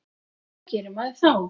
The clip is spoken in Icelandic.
Hvað gerir maður þá?